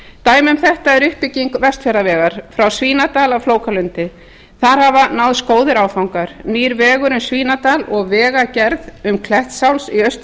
dæmi um þetta er uppbygging vestfjarðavegar frá svínadal að flókalundi þar hafa náðst góðir áfangar nýr vegur um svínadal og vegagerð um klettsháls í austur